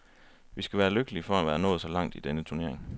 Vi skal være lykkelige for at være nået så langt i denne turnering.